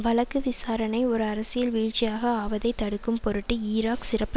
வழக்கு விசாரணை ஒரு அரசியல் வீழ்ச்சியாக ஆவதை தடுக்கும்பொருட்டு ஈராக் சிறப்பு